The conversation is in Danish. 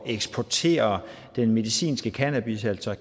eksportere den medicinske cannabis altså